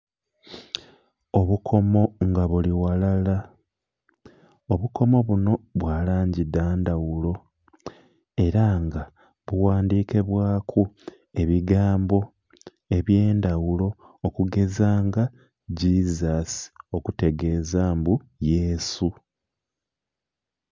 Obukomo nga buli ghalala, obukomo bunho bwalangi dhandhaghulo era nga bughandhike bwaku ebigambo ebyandhaghulo okugeza nga "Jesus" okutegeza mbu yesu.